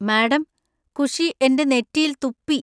Madam, Khushi എന്‍റെ നെറ്റിയിൽ തുപ്പി.